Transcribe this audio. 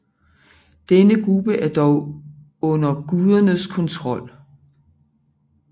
Denne gruppe er dog under gudernes kontrol